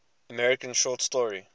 american short story